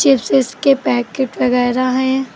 चिप्सेस के पैकेट वगैरा हैं।